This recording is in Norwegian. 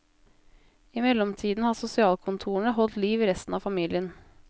I mellomtiden har sosialkontorene holdt liv i resten av familien.